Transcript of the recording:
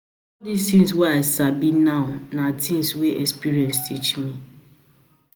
tins wey I I sabi now na tins wey experience teach me.